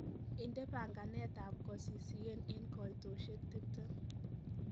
inde panganet ab kosisiyen en koitosyek tiptem